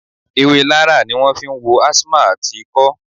Ewé Larra ni wọn fi ń wo asthma àti ikọ́